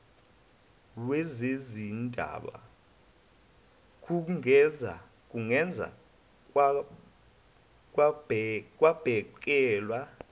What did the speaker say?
wezezindaba kungeze kwabhekelwa